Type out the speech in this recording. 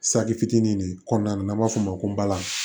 Saki fitinin de kɔnɔna n'an b'a f'o ma ko balan